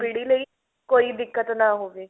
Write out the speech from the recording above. ਪੀੜੀ ਲਈ ਕੋਈ ਦਿੱਕਤ ਨਾ ਹੋਵੇ